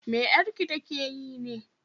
me 'yarki ta ke yi ne?